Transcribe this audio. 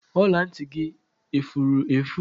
Ọla ntị gị efure efu